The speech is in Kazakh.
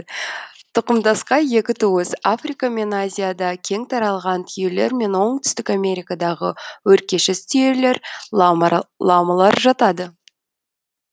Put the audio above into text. тұқымдасқа екі туыс африка мен азияда кең таралған түйелер мен оңтүстік америкадағы өркешіз түйелер ламалар жатады